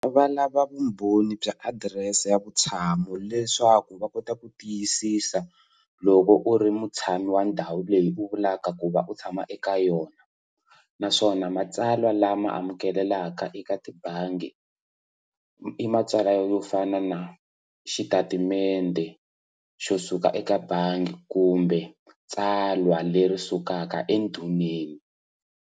Va lava vumbhoni bya adirese ya vutshamo leswaku va kota ku tiyisisa loko u ri mutshami wa ndhawu leyi u vulaka ku va u tshama eka yona naswona matsalwa lama amukelelaka eka tibangi i matsalwa yo fana na xitatimende xo suka eka bangi kumbe tsalwa leri sukaka endhuneni.